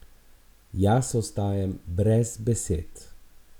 Jaz ostajam brez besed!